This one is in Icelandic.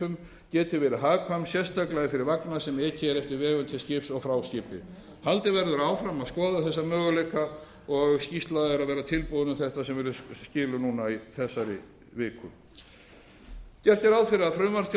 ekjuskipum geti verið hagkvæm sérstaklega fyrir vagna sem ekið er eftir vegum til skips og frá skipi haldið verður áfram að skoða þessa möguleika og skýrsla er að verða tilbúin um þetta sem verður skilað núna í þessari viku gert er ráð fyrir að frumvarp til